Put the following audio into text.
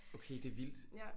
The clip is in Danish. Okay det er vildt